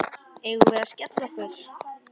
Eigum við að skella okkur?